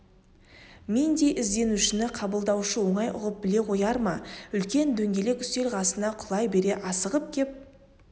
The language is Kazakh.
мендей ізденушіні қабылдаушы оңай ұғып біле қояр ма үлкен дөңгелек үстел қасына құлай бере асығып кеп